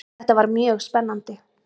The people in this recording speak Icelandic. Þetta var mjög spennandi.